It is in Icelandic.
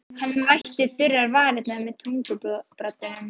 Hann vætti þurrar varirnar með tungubroddinum.